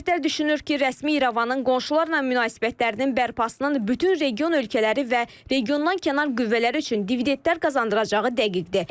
Ekspertlər düşünür ki, rəsmi İrəvanın qonşularla münasibətlərinin bərpasının bütün region ölkələri və regiondan kənar qüvvələr üçün dividentlər qazandıracağı dəqiqdir.